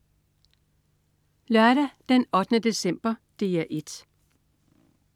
Lørdag den 8. december - DR 1: